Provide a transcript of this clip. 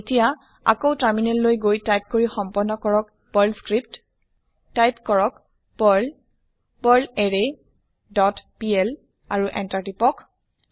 এতিয়া আকৌ টাৰ্মিনেল লৈ গৈ টাইপ কৰি সম্পন্ন কৰক পাৰ্ল স্ক্ৰিপ্ট টাইপ কৰক পাৰ্ল পাৰ্লাৰৰে ডট পিএল আৰু Enter কৰক